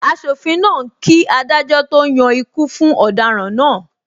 Asofin náà ń kí adájọ́ to yan ikú fún ọ̀daràn náà.